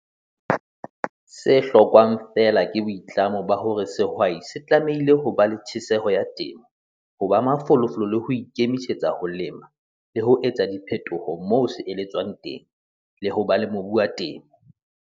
Se hlokwang feela ke boitlamo ba hore sehwai se tlamehile ho ba le tjhesehelo ya temo, ho ba mafolofolo le ho ikemisetsa ho lema, le ho etsa diphetoho moo se eletswang teng, le ho ba le mobu wa temo.